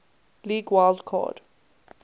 league wild card